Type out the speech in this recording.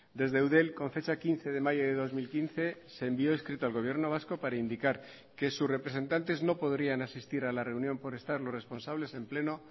desde eudel con fecha quince de mayo de dos mil quince se envió escrito al gobierno vasco para indicar que sus representantes no podrían asistir a la reunión por estar los responsables en pleno